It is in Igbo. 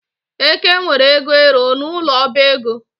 Eke nwere ego ero n'ụlọ ọbaego